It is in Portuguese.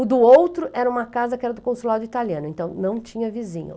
O do outro era uma casa que era do consulado italiano, então não tinha vizinho.